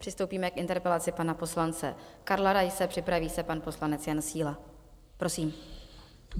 Přistoupíme k interpelaci pana poslance Karla Raise, připraví se pan poslanec Jan Síla, prosím.